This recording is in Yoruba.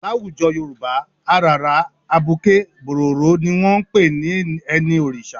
Láwùjọ Yorùbá, àràrá, abuké, bòròró ni wọn ń pè ní ẹni Òrìṣà.